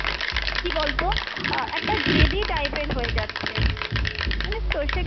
কী বলতো, আহ একটা জেদী type এর হয়ে যাচ্ছে, জানিস তো,